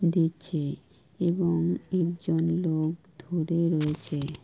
দিচ্ছে এবং একজন লোক ধরে রয়েছে।